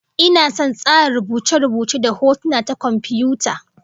Ina son tsara rubuce-rubuce da hotuna ta komfiyuta